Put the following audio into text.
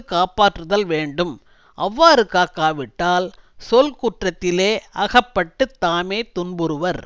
காப்பாற்றுதல் வேண்டும் அவ்வாறு காக்காவிட்டால் சொற்குற்றத்திலே அகப்பட்டு தாமே துன்புறுவர்